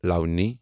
لونی